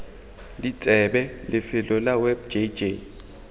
ditsebe lefelo la web jj